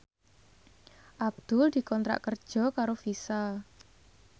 Abdul dikontrak kerja karo Visa